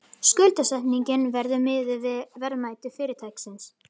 Skuldsetningin verði miðuð við verðmæti fyrirtækisins